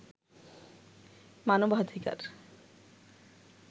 মানবাধিকার